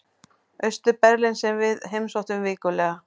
Austur-Berlín sem við heimsóttum vikulega.